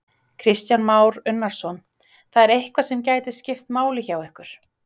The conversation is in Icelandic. Kristján Már Unnarsson: Það er eitthvað sem gæti skipt máli hjá ykkur?